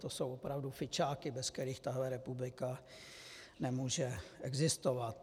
To jsou opravdu fičáky, bez kterých tato republika nemůže existovat.